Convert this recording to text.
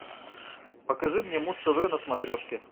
покажи мне муз тв на смотрешке